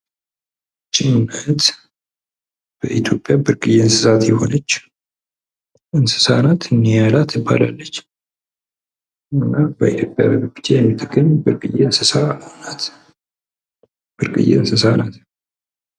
ይች ማለት በኢትዮጵያ ብርቅየ የሆነች እንስሳ ነች። ኒያላ ትባላለች። በኢትዮጵያ ብቻ የምትገኝ ብርቅየ እንስሳ ናት።